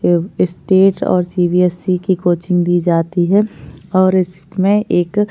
ये स्टेट और C B S E की कोचिंग दी जाती है और इसमें एक --